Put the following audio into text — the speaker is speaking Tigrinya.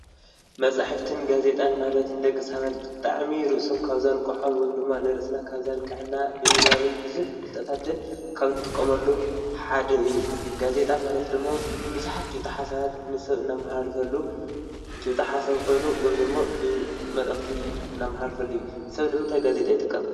መጻሕፍትን ጋዜጣን ማለት ንደቂ ሰባት ብጣዕሚ ርእሶም ካብ ዘንቀሖም ወይም ደሞ ንርእስና ካብዘንቃሕና ብምንባብን ብዙሐ ፍልጠታትን ካብ ንጥቆመሉም ሓደ እዩ፡፡ ጋዜጣ ማለት ደሞ ብዙሓት ጭብጢ ሓሳባት ንሰብ እናመሓላልፈሉ ጭብጣ ሓሳብ ኾይኑ ወይም ደሞ ብመልእኽቲ እነመሓላልፈሉ እዩ፡፡ ሰብ ንምንተይ ጋዜጣ ኣይጥቀምን?